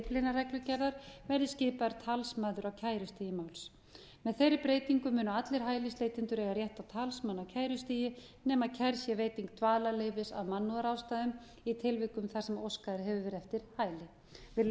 svonefndu dyflinnarreglugerðar verði skipaður talsmaður á kærustigi máls með þeirri breytingu munu allir hælisleitendur eiga rétt á talsmanni á kærustigi nema kærð sé veiting dvalarleyfis af mannúðarástæðum í tilvikum þar sem óskað hefur verið eftir hæli virðulegi